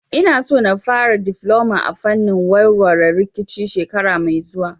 Ina so in fara difloma a fannin warware rikici shekara mai zuwa